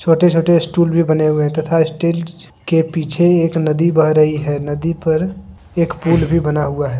छोटे छोटे स्टूल भी बने हुए हैं तथा स्टेज के पीछे एक नदी बह रही है नदी पर एक पुल भी बना हुआ है।